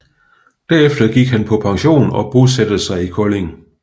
Herefter gik han på pension og bosatte sig i Kolding